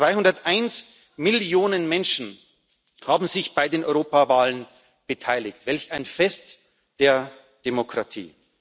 201 Millionen Menschen haben sich bei den Europawahlen beteiligt welch ein Fest der Demokratie!